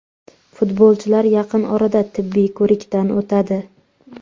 Futbolchilar yaqin orada tibbiy ko‘rikdan o‘tadi.